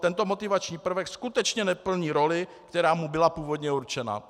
Tento motivační prvek skutečně neplní roli, která mu byla původně určena.